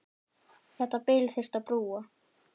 Þetta bil þyrfti að brúa.